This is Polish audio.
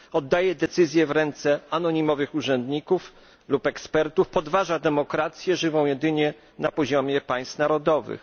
Oddaje decyzje w ręce anonimowych urzędników lub ekspertów, podważa demokrację, żywą jedynie na poziomie państw narodowych.